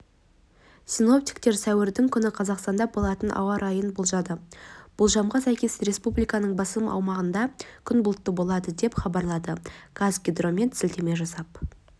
синоптиктер сәуірдің күні қазақстанда болатын ауа райын болжады болжамға сәйкес республиканың басым аумағында күн бұлтты болады деп хабарлайды қазгидромет сілтеме жасап